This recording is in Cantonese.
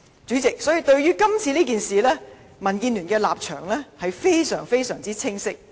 主席，所以對於今次事件，民建聯的立場相當清晰。